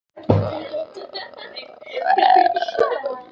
Hurðin féll að stöfum, áður en hann fékk lokið máli sínu.